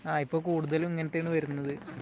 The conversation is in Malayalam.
ആ. ഇപ്പോ കൂടുതലും ഇങ്ങനത്തെ ആണ് വരുന്നത്.